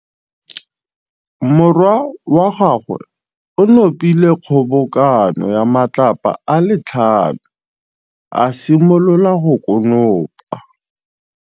Morwa wa gagwe o nopile kgobokanô ya matlapa a le tlhano, a simolola go konopa.